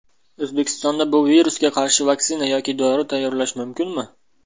O‘zbekistonda bu virusga qarshi vaksina yoki dori tayyorlash mumkinmi?